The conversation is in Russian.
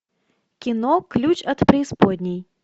кино ключ от преисподней